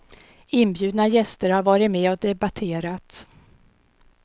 Inbjudna gäster har varit med och debatterat.